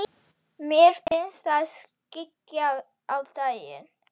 Mér finnst það skyggja á daginn.